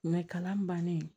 kalan bannen